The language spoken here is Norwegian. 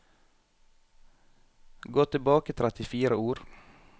Gå tilbake trettifire ord